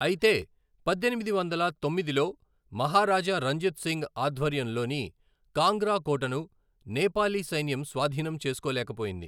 అయితే, పద్దెనిమిది వందల తొమ్మిదిలో మహారాజా రంజిత్ సింగ్ ఆధ్వర్యంలోని కాంగ్రా కోటను నేపాలీ సైన్యం స్వాధీనం చేసుకోలేకపోయింది.